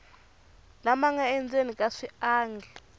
lama nga endzeni ka swiangi